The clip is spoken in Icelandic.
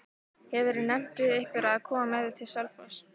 Hefurðu nefnt við einhverja að koma með þér til Selfoss?